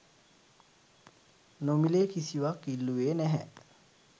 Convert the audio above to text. නොමි‍ලේ කිසිවක් ඉල්ලුවේ නැහැ.